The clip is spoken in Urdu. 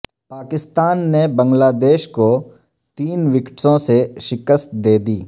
پاکستان نے بنگلہ دیش کو تین وکٹوں سے شکست دے دی